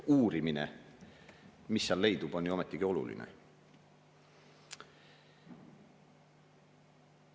Uurimine, mida seal leidub, on ju ometigi oluline.